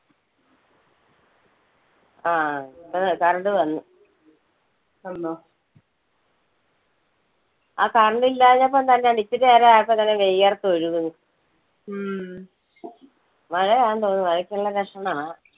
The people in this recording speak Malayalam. ആ ഇപ്പൊ current വന്ന്. ആ current ഇല്ലാഞ്ഞപ്പം തന്നെ ഇത്തിരി നേരം ആയപ്പോൾ തന്നെ വിയർത്ത് ഒഴുകുന്ന്. മഴയാന്നു തോന്നുന്നു. മഴയ്ക്കുള്ള ലക്ഷണമാ.